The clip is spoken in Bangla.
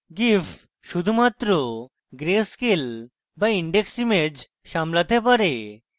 gif শুধুমাত্র গ্রে স্কেল বা indexed ইমেজ সামলাতে পারে